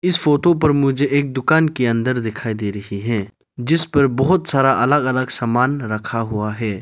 इस फोटो पर मुझे एक दुकान के अंदर दिखाई दे रहे हैं जिस पर बहोत सारा अलग अलग सामान रखा हुआ है।